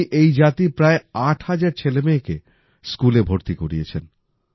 উনি এই জাতির প্রায় ৮০০০ ছেলেমেয়েকে স্কুলে ভর্তি করিয়েছেন